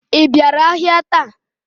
I bịara ahịa taa?